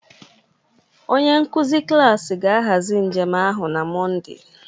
Onye nkuzi klas ga-ahazi njem ahụ na Mọnde